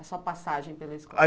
A sua passagem pela escola. A